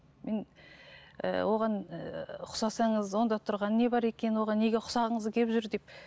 мен ііі оған ііі ұқсасаңыз онда тұрған не бар екен оған неге ұқсағыңыз келіп жүр деп